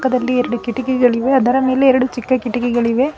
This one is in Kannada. ಅದರಲ್ಲಿ ಎರಡು ಕಿಟ್ಟಕಿಗಳಿವೆ ಅದರ ಮೇಲೆ ಎರಡು ಚಿಕ್ಕ ಕಿಟ್ಟಕಿಗಳಿವೆ.